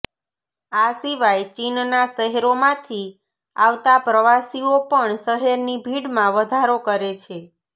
આ સીવાય ચીનનાશહેરોમાંથી આવતા પ્રવાસીઓ પણ શહેરની ભીડમાં વધારો કરે છે